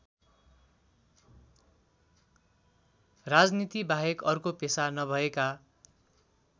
राजनीतिबाहेक अर्को पेशा नभएका